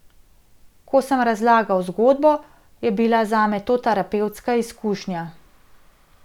Ko sem razlagal zgodbo, je bila zame to terapevtska izkušnja.